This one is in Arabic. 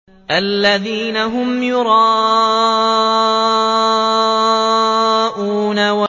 الَّذِينَ هُمْ يُرَاءُونَ